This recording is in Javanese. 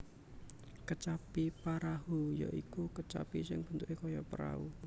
Kecapi Parahu ya iku kecapi sing bentuke kaya perahu